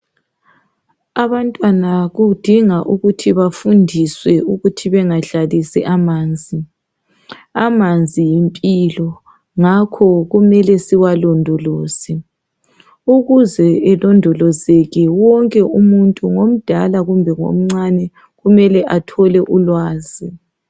Abantwana kudinga ukuthi bafundiswe ukuthi bengadlalisi amanzi ,amanzi yimpilo ngakho kumele siwalondoloze. Ukuze alondolozeke wonke umuntu ngomdala kumbe ngomncane kumele athole ulwazi.